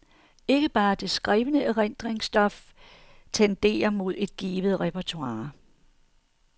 Ikke bare det skrevne erindringsstof tenderer mod et givet repertoire.